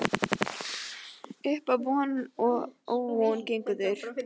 Uppá von og óvon gengu þeir